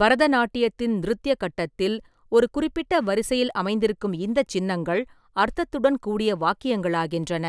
பரதநாட்டியத்தின் நிருத்ய கட்டத்தில், ஒரு குறிப்பிட்ட வரிசையில் அமைந்திருக்கும் இந்த சின்னங்கள் அர்த்தத்துடன் கூடிய வாக்கியங்களாகின்றன,